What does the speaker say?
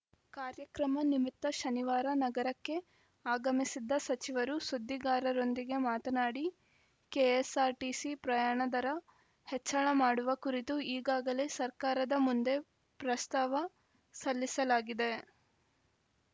ಕಾರ್ಯಕ್ರಮ ನಿಮಿತ್ತ ಶನಿವಾರ ನಗರಕ್ಕೆ ಆಗಮಿಸಿದ್ದ ಸಚಿವರು ಸುದ್ದಿಗಾರರೊಂದಿಗೆ ಮಾತನಾಡಿ ಕೆಎಸ್‌ಆರ್‌ಟಿಸಿ ಪ್ರಯಾಣ ದರ ಹೆಚ್ಚಳ ಮಾಡುವ ಕುರಿತು ಈಗಾಗಲೇ ಸರ್ಕಾರದ ಮುಂದೆ ಪ್ರಸ್ತಾವ ಸಲ್ಲಿಸಲಾಗಿದೆ